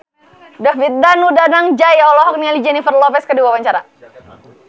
David Danu Danangjaya olohok ningali Jennifer Lopez keur diwawancara